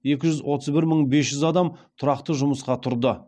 екі жүз отыз бір мың бес жүз адам тұрақты жұмысқа тұрды